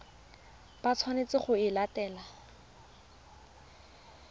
ba tshwanetseng go e latela